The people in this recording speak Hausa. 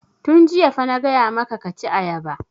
Tun jiya fa na gaya maka ka ci ayaba!